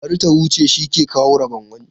Bari ta huce, shi ke kawo rabon wani.